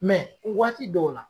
u waati dɔw la